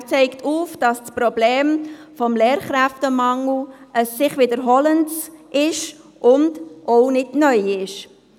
Der Regierungsrat zeigt auf, dass das Problem des Lehrkräftemangel ein sich wiederholendes und auch kein neues ist.